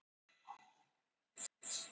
Niðurstöður er að vænta fljótlega